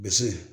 Bisi